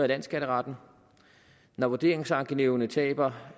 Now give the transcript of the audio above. landsskatteretten og når vurderingsankenævnene taber